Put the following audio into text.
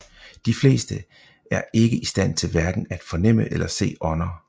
De fleste er ikke i stand til hverken at fornemme eller se ånder